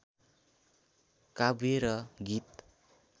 काव्य र गीत